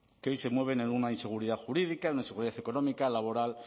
que hoy se mueven en una inseguridad jurídica en una seguridad económica laboral